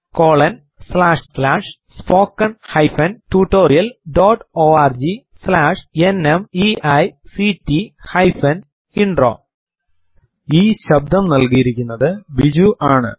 ഈ സ്ക്രിപ്റ്റ് നൽകിയിരിക്കുന്നത് ക്രിസ്റ്റോ ജോർജ് ആണ്